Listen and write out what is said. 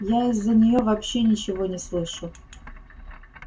я из-за неё вообще ничего не слышу